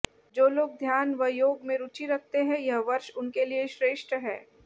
जो लोग ध्यान व योग में रूचि रखते हैं यह वर्ष उनके लिए श्रेष्ठ है